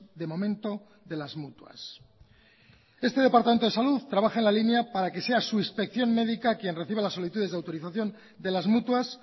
de momento de las mutuas este departamento de salud trabaja en la línea para que sea su inspección médica quien reciba las solicitudes de autorización de las mutuas